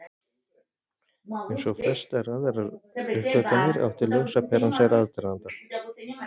Eins og flestar aðrar uppgötvanir átti ljósaperan sér aðdraganda.